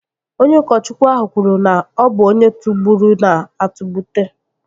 Onye ụkọchukwu ahụ kwuru na, ọ bụ onye tụgburu na-atụgbute